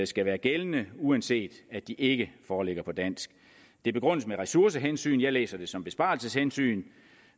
skal være gældende uanset at de ikke foreligger på dansk det begrundes med ressourcehensyn jeg læser det som besparelseshensyn